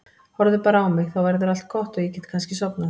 Horfðu bara á mig, þá verður allt gott og ég get kannski sofnað.